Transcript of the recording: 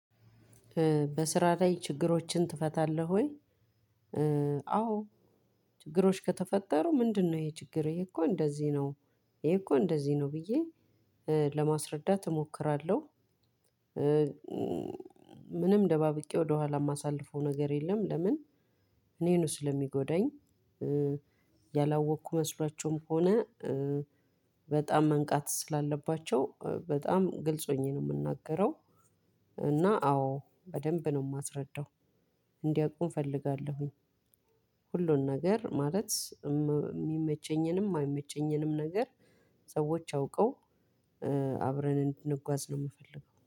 በስራ ላይ ችግሮችን ትፈታለህ ወይ? አዎ ችግሮች ከተፈጠሩ ምንድነው ይሄ ችግር ይሄ እኮ እንደዚህ ነው ይሄ እኮ እንደዚህ ነው ብዬ ለማስረዳት እሞክራለሁ። ምንም ደባብቄ ወደኋላ የማሳልፈው ነገር የለም ለምን? እኔ ነው ስለሚጎዳኝ። ያላወቅኩ መስሏቸውም ሆነ በጣም መንቃት ስላለባቸው በጣም ግልጽ ሆኜ ነው የምናገረው። እና አዎ በደንብ ነው የማስረዳው እንዲያውቁም እፈልጋለሁኝ። ሁሉን ነገር ማለት የሚመቸኝንም የማይመቸኝንም ነገር ሰዎች አውቀው አብረን እንድንጓዝ ነው የምፈልገው